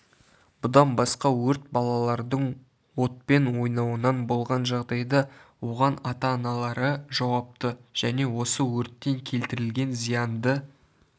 бұдан басқа өрт балалардың отпен ойнауынан болған жағдайда оған ата-аналары жауапты және осы өрттен келтірілген зиянды